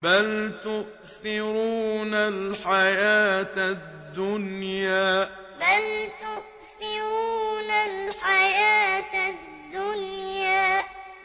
بَلْ تُؤْثِرُونَ الْحَيَاةَ الدُّنْيَا بَلْ تُؤْثِرُونَ الْحَيَاةَ الدُّنْيَا